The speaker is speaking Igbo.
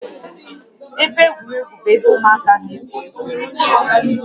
Ebe egwuregwu bụ ebe ụmụaka na-egwu egwuregwu